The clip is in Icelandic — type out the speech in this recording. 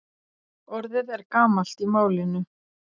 Orðið er gamalt í málinu.